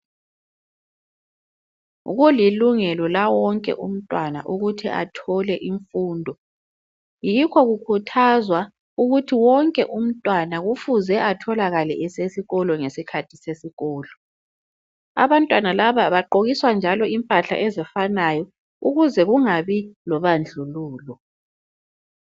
Kulilungelo lawonke umntwana ukuthi athole imfundo. Yikho kukhuthazwa ukuthi wonke umntwana kufuze atholakale esesikolo ngesikhathi sesikolo. Abantwana laba bagqokiswa njalo impahla ezifanayo ukuze kungabi lobandlululo.